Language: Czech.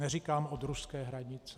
Neříkám od ruské hranice.